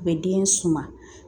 U bɛ den suma